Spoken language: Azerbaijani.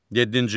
Yeddinci.